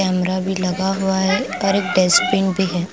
Camera भी लगा हुआ है और एक डेस्टबिन भी है।